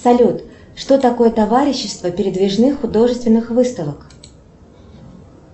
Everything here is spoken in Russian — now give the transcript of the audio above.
салют что такое товарищество передвижных художественных выставок